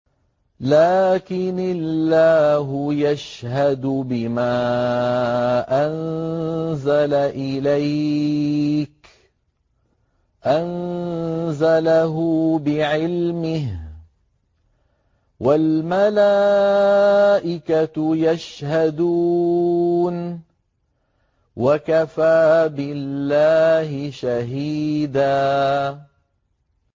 لَّٰكِنِ اللَّهُ يَشْهَدُ بِمَا أَنزَلَ إِلَيْكَ ۖ أَنزَلَهُ بِعِلْمِهِ ۖ وَالْمَلَائِكَةُ يَشْهَدُونَ ۚ وَكَفَىٰ بِاللَّهِ شَهِيدًا